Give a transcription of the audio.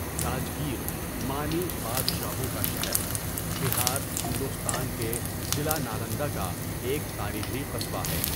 راجگیر، معنی 'بادشاہوں کا شہر'، بہار، ہندوستان کے ضلع نالندہ کا ایک تاریخی قصبہ ہے۔